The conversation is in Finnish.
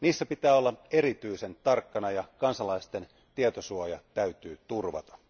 Niissä pitää olla erityisen tarkkana ja kansalaisten tietosuoja täytyy turvata.